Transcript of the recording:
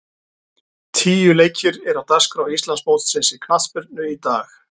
Tíu leikir eru á dagskrá Íslandsmótsins í knattspyrnu í dag.